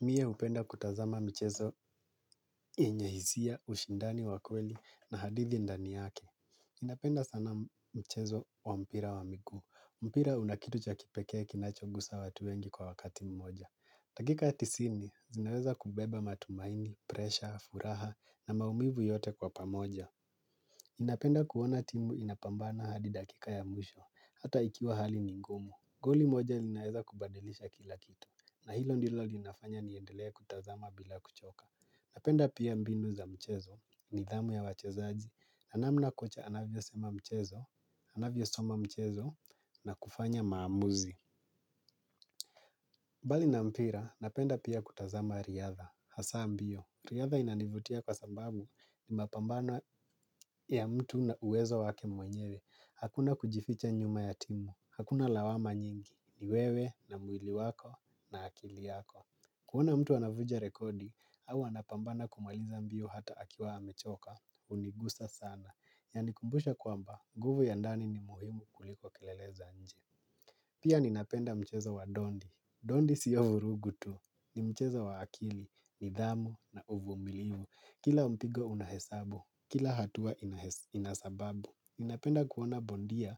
Mie hupenda kutazama michezo yenye hisia, ushindani wa kweli na hadithi ndani yake. Ninapenda sana mchezo wa mpira wa miguu. Mpira una kitu cha kipekee kinachogusa watu wengi kwa wakati mmoja. Dakika tisini, zinaweza kubeba matumaini, presha, furaha na maumivu yote kwa pamoja. Ninapenda kuona timu inapambana hadi dakika ya mwisho, hata ikiwa hali ni ngumu. Goli moja linaeza kubadilisha kila kitu, na hilo ndilo linafanya niendelee kutazama bila kuchoka. Napenda pia mbinu za mchezo, nidhamu ya wachezaji, na namna kocha anavyosema mchezo, anavyosoma mchezo, na kufanya maamuzi. Mbali na mpira, napenda pia kutazama riadha, hasa mbio. Riadha inanivutia kwa sababu ni mapambano ya mtu na uwezo wake mwenyewe. Hakuna kujificha nyuma ya timu, hakuna lawama nyingi, ni wewe na mwili wako na akili yako. Kuona mtu anavunja rekodi, au anapambana kumaliza mbio hata akiwa amechoka, hunigusa sana. Yanikumbusha kwamba, nguvu ya ndani ni muhimu kuliko kelele za nje. Pia ninapenda mcheza wa dondi. Dondi siyo vurugu tu. Ni mchezo wa akili, nidhamu na uvumilivu. Kila mpigo una hesabu, kila hatua ina sababu. Ninapenda kuona bondia,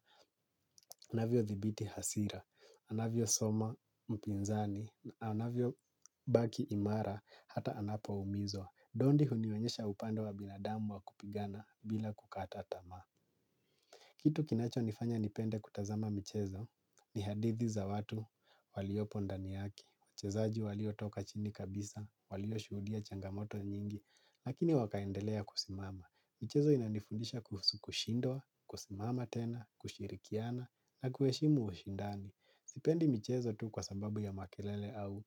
anavyothibiti hasira, anavyosoma mpinzani, anavyobaki imara hata anapoumizwa. Dondi hunionyesha upande wa binadamu wa kupigana bila kukata tamaa. Kitu kinachonifanya nipende kutazama michezo ni hadithi za watu waliopo ndani yake. Wachezaji waliotoka chini kabisa, walioshuhudia changamoto nyingi. Lakini wakaendelea kusimama. Michezo inanifundisha kuhusu kushindwa, kusimama tena, kushirikiana na kuheshimu ushindani. Sipendi michezo tu kwa sababu ya makelele au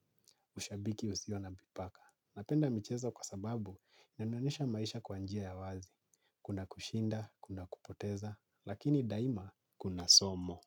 ushabiki usio na mipaka. Napenda michezo kwa sababu inanionesha maisha kwa njia ya wazi. Kuna kushinda, kuna kupoteza, lakini daima kuna somo.